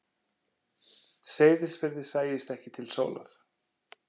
Seyðisfirði sæist ekki til sólar.